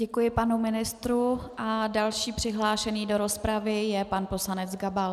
Děkuji panu ministrovi a další přihlášený do rozpravy je pan poslanec Gabal.